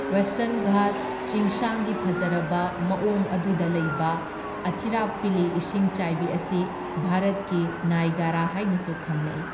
Western Ghat ꯆꯤꯡꯁꯥꯡꯒꯤ ꯐꯖꯔꯕ ꯃꯋꯣꯡ ꯑꯗꯨꯗ ꯂꯩꯕ ꯑꯊꯤꯔꯥꯞꯄꯤꯂꯤ ꯏꯁꯤꯡꯆꯥꯏꯕꯤ ꯑꯁꯤ ꯚꯥꯔꯠꯀꯤ ꯅꯥꯢꯒꯔꯥ ꯍꯥꯏꯅꯁꯨ ꯈꯪꯅꯩ꯫